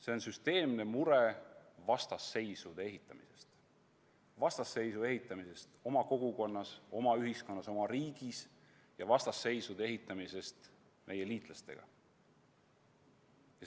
See on süsteemne mure vastasseisude ehitamise pärast, vastasseisude ehitamise pärast oma kogukonnas, oma ühiskonnas, oma riigis, ja vastasseisude ehitamise pärast meie liitlastega.